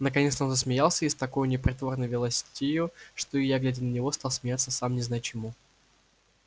наконец-то он засмеялся и с такою непритворной веселостию что и я глядя на него стал смеяться сам не зная чему